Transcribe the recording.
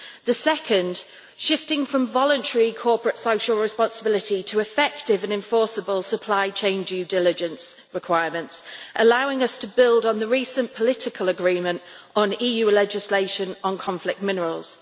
The second, shifting from voluntary corporate social responsibility to effective and enforceable supply chain due diligence requirements, allowing us to build on the recent political agreement on EU legislation on conflict minerals.